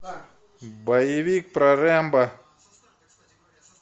боевик про рэмбо